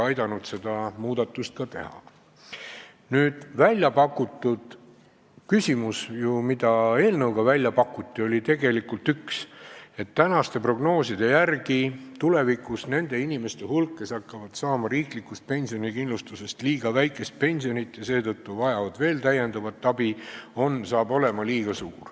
Nüüd siin tõstatatud küsimusest, et tänaste prognooside järgi saab tulevikus olema väga suur nende inimeste hulk, kes hakkavad saama riiklikust pensionikindlustusest liiga väikest pensionit ja seetõttu vajavad veel täiendavat toetust.